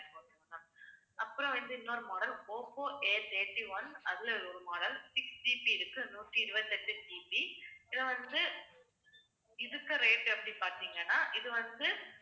அப்புறம் வந்து இன்னொரு model ஒப்போ Athirty-one அதுல ஒரு model 6GB இருக்கு நூத்தி இருபத்தி எட்டு GB இதுல வந்து இதுக்கு rate எப்படி பார்த்தீங்கன்னா இது வந்து